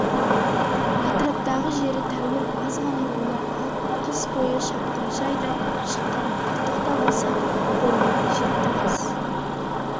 атраптағы жері тәуір азғана руларға қыс бойы шапқыншы айдап шыққан артық та болса қолға жетті қыс